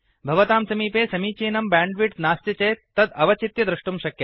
भवतां समीपे समीचीनं ब्याण्ड्विड्थ् नास्ति चेत् तद् अवचित्य द्रष्टुं शक्यते